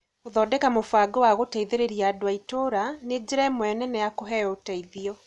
Gũthondeka mũbango wa gũteithĩrĩria andũ a ĩtũũra nĩ njĩra ĩmwe nene ya kũheo ũteithio.